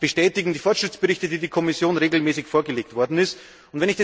Das bestätigen die Fortschrittsberichte, die die Kommission regelmäßig vorgelegt hat.